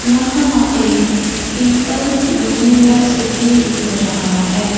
यहां a people's university दिख रहा है।